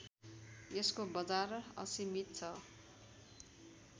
यसको बजार असीमित छ